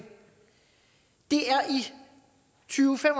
det er i tyve til